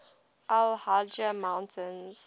al hajar mountains